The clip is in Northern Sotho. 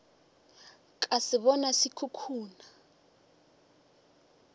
ka se bona se khukhuna